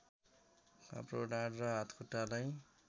काप्रो ढाड वा हातखुट्टालाई